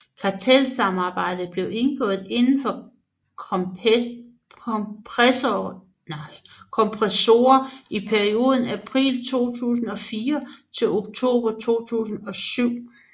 Kartelsamarbejdet blev indgået indenfor kompressorer i perioden april 2004 til oktober 2007